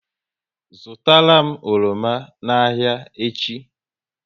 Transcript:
Zụtara m oroma n'ahia echi!